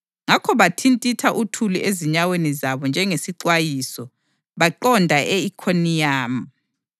Ngakho bathintitha uthuli ezinyaweni zabo njengesixwayiso, baqonda e-Ikhoniyamu.